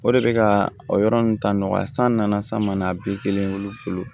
O de bɛ ka o yɔrɔ ninnu ta nɔgɔya san nana san san mana bi kelen wolo fɔlɔ